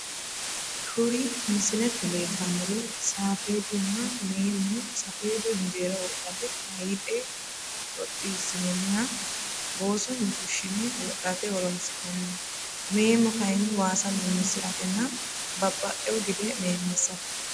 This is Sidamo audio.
Kuri misilete leeltanori safeedunna meemo safeedu injeera wodhate hayiixe xoxisinoniha boosoni fushine wodhate horonsinaniho meemo kayini waasa memisiratenna babaxewo gide meemisate.